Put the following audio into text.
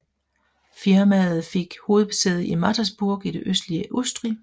Firmaet fik hovedsæde i Mattersburg i det østlige Østrig